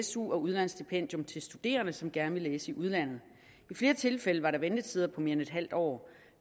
su og udlandsstipendium til studerende som gerne ville læse i udlandet i flere tilfælde var der ventetider på mere end en halv år